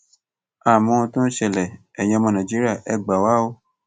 a ò mohun tó ń ṣẹlẹ ẹyin ọmọ nàìjíríà ẹ gbà wá o